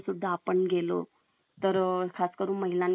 आपण आता मजदूरी नाही करायला जमत आहे तर एक च ऑपशन ना एज्युकेशन नाही केल तर